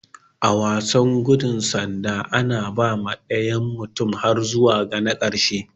A wasan gudu bada sanda, ana ba ma dayan mutum har zuwa ga na karshen.